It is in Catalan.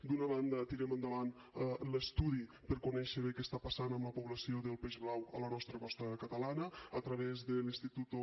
d’una banda tirem endavant l’estudi per conèixer bé què està passant amb la població del peix blau a la nostra costa catalana a través del instituto